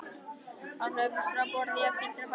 Að hlaupast frá borði jafngildir að farga sér.